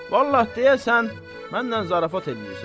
Vallah, deyəsən, mənnən zarafat eləyirsən.